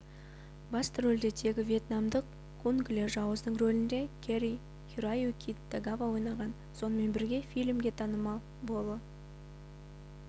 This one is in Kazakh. басты рөлде тегі вьетнамдық кунг ле жауыздың рөлінде кэри-хироюки тагава ойнаған сонымен бірге фильмге танымал боло